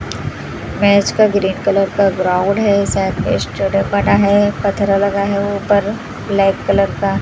Match का green colour का ground है साइड में स्टेडियम बना है पत्थरा लगा है ऊपर ब्लैक कलर का।